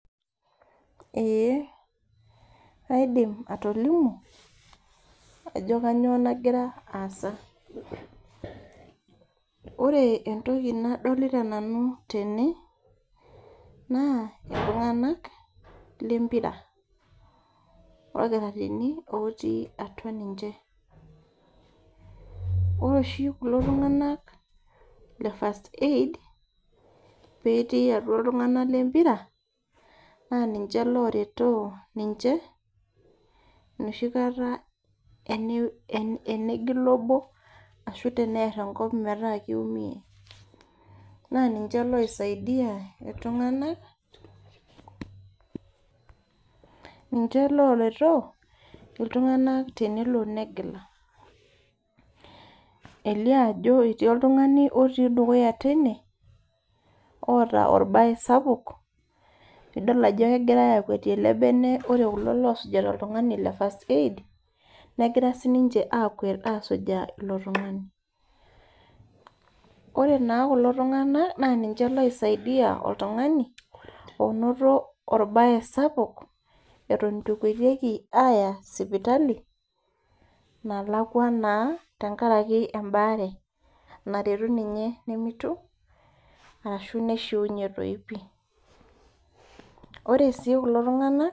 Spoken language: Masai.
Eeh aidim atolimu ajo kanyio nagira aasa ore entoki nadolita nanu tene naa iltung'anak lempira orkitarini otii atua ninche ore oshi kulo tung'anak le first aid petii atua iltung'anak lempira naa ninche loretoo ninche enoshi kata ene enegila obo ashu tenerr enkop metaa kiumie naa ninche loisaidia iltung'anak ninche loretoo iltung'anak tenelo negila elio ajo etii oltung'ani otii dukuya teine oota orbaye sapuk nidol ajo kegirae akwetie ele bene ore kulo losujita oltung'ani le first aid negira sininche akwet asujaa ilo tung'ani ore naa kulo tung'anak naa ninche loisaidia oltung'ani onoto orbaye sapuk eton itu ekwetieki aaya sipitali nalakua naa tenkaraki embaare naretu ninye nemitu arashu neishiunye toi pii ore sii kulo tung'anak.